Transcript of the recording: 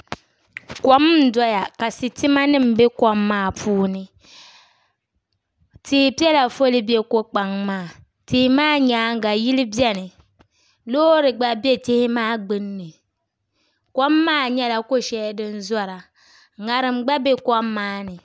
Kom n doya ka sitima nim bɛ kom maa puuni tia piɛla foli bɛ ko kpaŋ maa tia maa nyaanga yili biɛni loori gba bɛ tihi maa gbunni kom maa nyɛla ko shɛli din zora ŋarim gba bɛ kom maa ni